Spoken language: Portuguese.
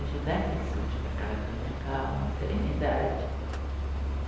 Ajudar pessoas para que elas tenham calma, serenidade.